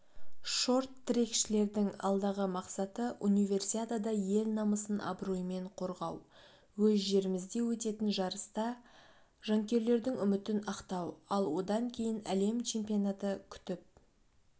шорт-трекшілердің алдағы мақсаты универсиадада ел намысын абыроймен қорғау өз жерімізде өтетін жарыста жанкүйерлердің үмітін ақтау ал одан кейін әлем чемпионаты күтіп